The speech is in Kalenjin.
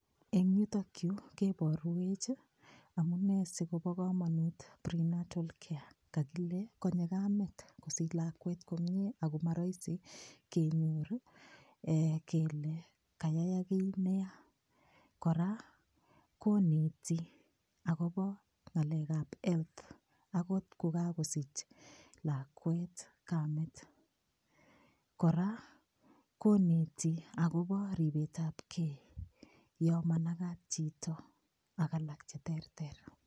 Eng' yutokyu keborwech amune sikobo komonut prenatal care kale konyei kamet kosich lakwet komyee ako marohisi kenyor kele kayayak kii neya kora koneti akobo ng'alekab health akot kokakesich lakwet kamet kora koneti akobo ribetab kei yo manakat chito ak alak cheterter